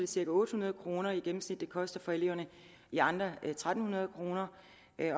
cirka otte hundrede kroner i gennemsnit det koster for eleverne i andre en tusind tre hundrede kroner